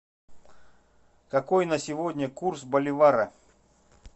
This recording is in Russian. какой на сегодня курс боливара